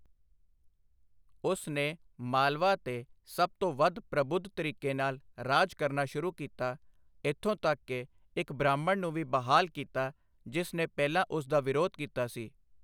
ਉਸ ਨੇ ਮਾਲਵਾ 'ਤੇ ਸਭ ਤੋਂ ਵੱਧ ਪ੍ਰਬੁੱਧ ਤਰੀਕੇ ਨਾਲ ਰਾਜ ਕਰਨਾ ਸ਼ੁਰੂ ਕੀਤਾ, ਇੱਥੋਂ ਤੱਕ ਕਿ ਇੱਕ ਬ੍ਰਾਹਮਣ ਨੂੰ ਵੀ ਬਹਾਲ ਕੀਤਾ ਜਿਸ ਨੇ ਪਹਿਲਾਂ ਉਸ ਦਾ ਵਿਰੋਧ ਕੀਤਾ ਸੀ।